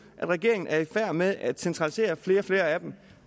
at regeringen er i færd med at centralisere flere og flere af dem